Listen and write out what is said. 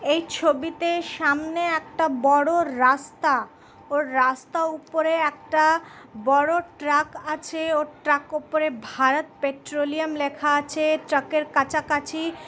এই ছবিতে সামনে একটা বড়ো রাস্তা ওর রাস্তা উপরে একটা বড়ো ট্রাক আছে ও ট্রাক উপরে ভারত পেট্রলিয়াম লেখা আছে ট্রাক -এর কাছাকাছি।